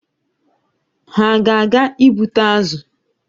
Ha a ga-aga ịgbụta azụ?